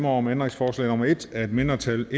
om ændringsforslag nummer en af et mindretal